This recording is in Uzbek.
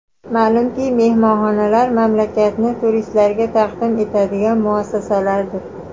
Ma’lumki, mehmonxonalar mamlakatni turistlarga taqdim etadigan muassasalardir.